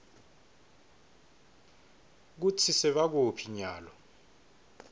kutsi sebakuphi nyalo